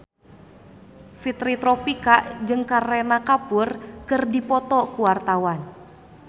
Fitri Tropika jeung Kareena Kapoor keur dipoto ku wartawan